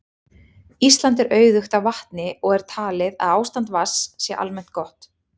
Ísland er auðugt af vatni og er talið að ástand vatns sé almennt gott.